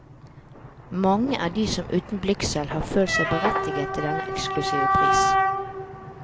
Mange er de som uten blygsel har følt seg berettiget til denne eksklusive pris.